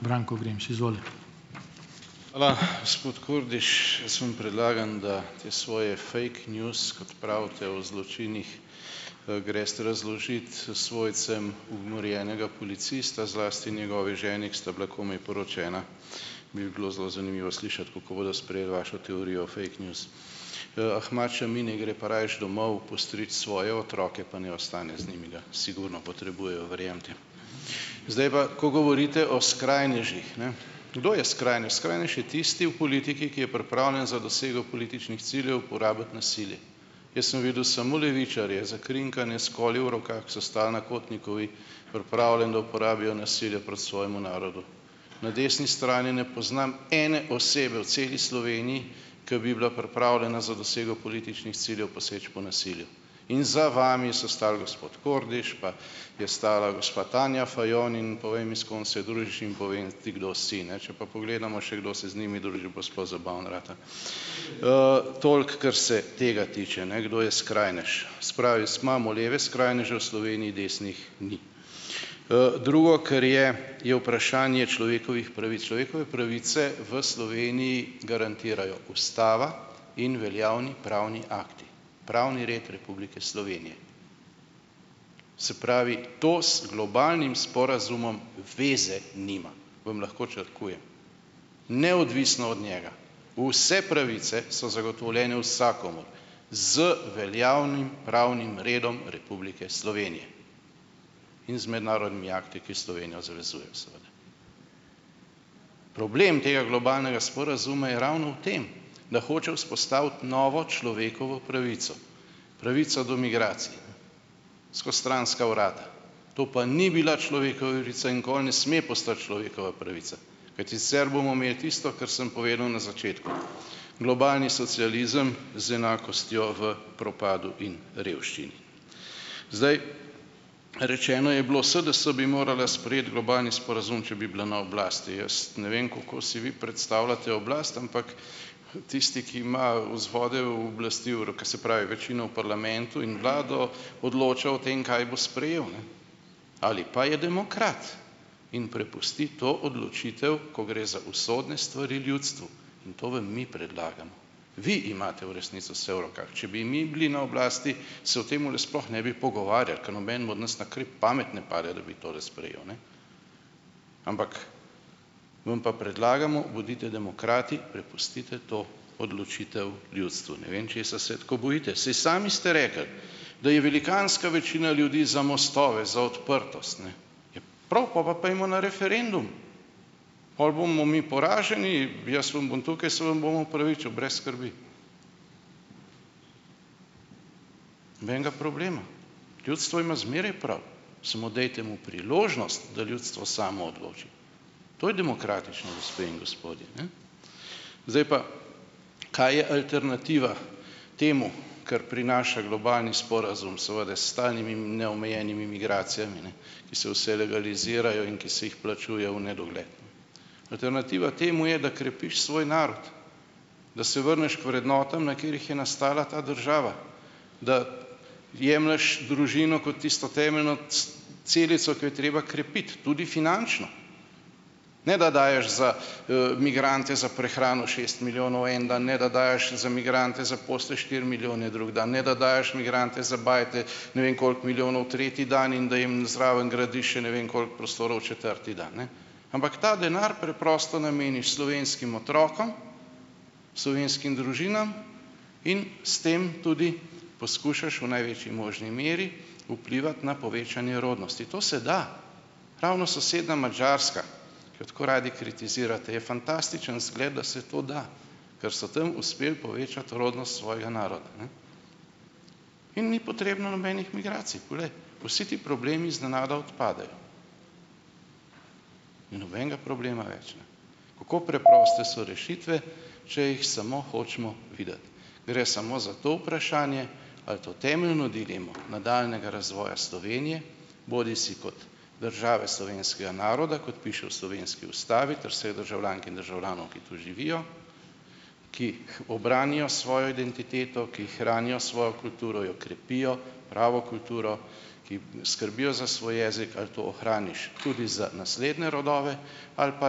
Branko Vrinč, izvolite. Hvala. Gospod Kordiš, jaz vam predlagam, da te svoje fake news, kot pravite o zločinih, greste razložiti svojcem umorjenega policista, zlasti njegovi ženi, ker sta bila komaj poročena, bi bilo zelo zanimivo slišati, kako bodo sprejeli vašo teorijo o fake news. Ahmad Šami naj gre pa rajši domov postrič svoje otroke pa naj ostane z njimi, ga sigurno potrebujejo, verjemite. Zdaj pa, ko govorite o skrajnežih, ne. Kdo je skrajnež? Skrajnež je tisti v politiki, ki je pripravljen za dosego političnih ciljev porabiti nasilje. Jaz sem videl samo levičarje, zakrinkane, s koli v rokah, so stal na Kotnikovi, pripravljeni, da uporabijo nasilje proti svojemu narodu. Na desni strani ne poznam ene osebe v celi Sloveniji, ko bi bila pripravljena za dosego političnih ciljev poseči po nasilju. In za vami so stali, gospod Kordiš, pa je stala gospa Tanja Fajon in povej mi, s kom se družiš, in povem ti, kdo si, ne. Če pa pogledamo še, kdo se z njimi druži, pa sploh zabavno rata. toliko, kar se tega tiče, ne, kdo je skrajnež. Se pravi, imamo leve skrajneže v Sloveniji, desnih ni. drugo, kar je, je vprašanje človekovih pravic. Človekove pravice v Sloveniji garantirajo ustava, in veljavni pravni akti. Pravni red Republike Slovenije. Se pravi, to z globalnim sporazumom veze nima. Vam lahko črkujem. Neodvisno od njega, vse pravice so zagotovljene vsakomur z veljavnim pravnim redom Republike Slovenije. In z mednarodnimi akti, ki Slovenijo zavezujejo, seveda. Problem tega globalnega sporazuma je ravno v tem, da hoče vzpostaviti novo človekovo pravico: pravico do migracij. Skozi stranska vrata. To pa ni bila človekova in nikoli ne sme postati človekova pravica. Kajti sicer bomo imeli tisto, kar sem povedal na začetku : globalni socializem z enakostjo v propadu in revščini. Zdaj, rečeno je bilo: "SDS bi morala sprejeti globalni sporazum, če bi bila na oblasti." Jaz ne vem, kako si vi predstavljate oblast, ampak tisti, ki imajo vzvode oblasti se pravi, večina v parlamentu in vlado odloča o tem, kaj bo sprejel, ne. Ali pa je demokrat in prepusti to odločitev, ko gre za usodne stvari, ljudstvu. To vam mi predlagamo. Vi imate v resnici vse v rokah. Če bi mi bili na oblasti, se o tem sploh ne bi pogovarjali, ke nobenemu od nas na kraj pamet ne pade, da bi tole sprejel, ne. Ampak vam pa predlagamo, bodite demokrati, prepustite to odločitev ljudstvu. Ne vem, česa se tako bojite, saj sami ste rekli, da je velikanska večina ljudi za mostove, za odprtost, ne. Ja prav, pol pa pojdimo na referendum, pol bomo mi poraženi, jaz vam bom tukaj se vam bom opravičil, brez skrbi. Nobenga problema. Ljudstvo ima zmeraj prav, samo dajte mu priložnost, da ljudstvo samo odloča. To je demokratičnost, gospe in gospodje, ne. Zdaj pa, kaj je alternativa temu, kar prinaša globalni sporazum, seveda s stalnimi neomejenimi migracijami, ne, ki se vse legalizirajo, ki se jih plačuje v nedogled? Alternativa temu je, da krepiš svoj narod, da se vrneš k vrednotam, na katerih je nastala ta država, da jemlješ družino kot tisto temeljno celico, ki jo je treba krepiti, tudi finančno, ne da daješ za, migrante, za prehrano šest milijonov en dan, ne da daješ za migrante za osem, štiri milijone drug dan, ne da daješ migrante za bajte ne vem koliko milijonov tretji dan, in da jim zraven gradiš še ne vem koliko prostorov četrti dan, ne. Ampak ta denar preprosto nameniš slovenskim otrokom, slovenskim družinam in s tem tudi poskušaš v največji možni meri vplivati na povečanje rodnosti. To se da. Ravno soseda Madžarska, ki jo tako radi kritizirate, je fantastičen zgled, da se to da, ker so tam uspeli povečati rodnost svojega naroda, ne. In ni potrebno nobenih migracij, pol, vsi ti problemi iznenada odpadejo. Ni nobenega problema več, ne. Kako preproste so rešitve, če jih samo hočemo videti. Gre samo za to vprašanje ali to temeljno dilemo nadaljnjega razvoja Slovenije, bodisi kot države slovenskega naroda, kot piše v slovenski ustavi, ter seveda državljank in državljanov, ki tu živijo, ki obranijo svojo identiteto, ki hranijo svojo kulturo, jo krepijo, pravo kulturo, ki skrbijo za svoj jezik, ali to hraniš tudi za naslednje rodove ali pa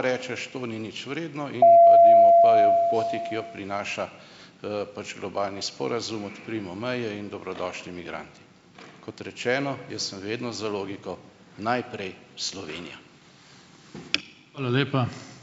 rečeš: "To ni nič vredno," in poti, ki jo prinaša, pač globalni sporazum, odprimo meje in dobrodošli migranti. Kot rečeno, jaz sem vedno za logiko, najprej Slovenija. Hvala lepa.